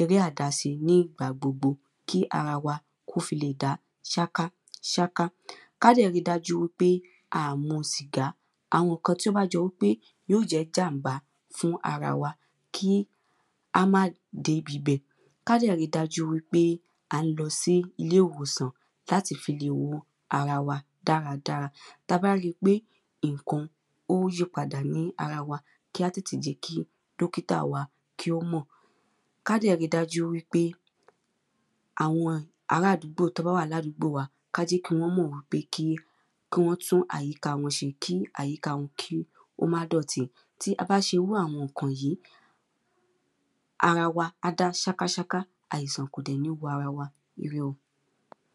eré àdáse ní ìgbà gbogbo. Kí ara wa kí ó fi leè dá sáká sáká. Ká dẹ̀ ri dájú pé a à mu sìgá. Àwọn ǹkan tí ó bá jọ wípé yó jẹ́ jàm̀bá fún ara wa, kí á má débibẹ̀. Ká dẹ̀ ri dájú pé à ń lọ sí ilé ìwòsàn. Láti fi lè wo ara wa dáradára. Ta bá ri pé ǹkan ó yí padà ní ara wa, ká tètè jẹ́ kí dókítà wa kí ó mọ̀. Ká dẹ̀ ri dájú wípé àwọn arádúgbò wọ́n bá wà ládúgbò wa ká jẹ́ kí wọ́n mọ̀ pé kí wọ́n tún àyíká wọn se kí àyíká wọn kí ó má dọ̀tí. Tí a bá se irú àwọn ǹkan wọ̀yí, ara wa á dá sáká sáká Àìsàn kò dẹ̀ ní wọ ara wa. ire o.